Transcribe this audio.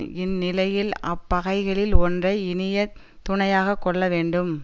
இந் நிலையில் அப் பகைகளில் ஒன்றை இனியத் துணையாக கொள்ள வேண்டும்